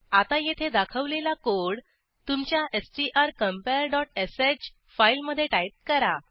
आता येथे दाखवलेला कोड तुमच्या स्ट्रकंपेअर डॉट श फाईलमधे टाईप करा